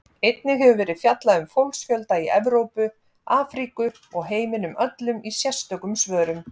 Einnig hefur verið fjallað um fólksfjölda í Evrópu, Afríku og heiminum öllum í sérstökum svörum.